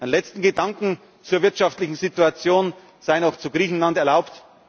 zu setzen. Und ein letzter Gedanke zur wirtschaftlichen Situation sei noch zu Griechenland